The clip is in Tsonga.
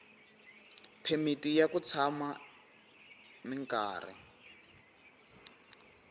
phemiti ya ku tshama minkarhi